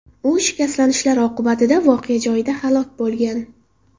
U shikastlanishlar oqibatida voqea joyida halok bo‘lgan.